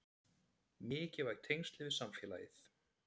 Mikilvæg tengsl við samfélagið